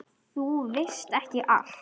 Þú veist ekki allt.